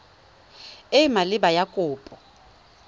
e e maleba ya kopo